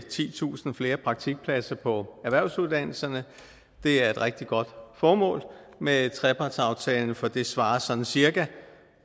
titusind flere praktikpladser på erhvervsuddannelserne det er et rigtig godt formål med trepartsaftalen for det svarer sådan cirka